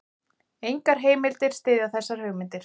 Engar heimildir styðja þessar hugmyndir.